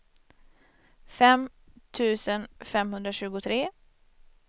fem tusen femhundratjugotre